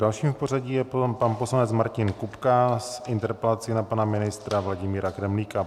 Dalším v pořadí je pan poslanec Martin Kupka s interpelací na pana ministra Vladimíra Kremlíka.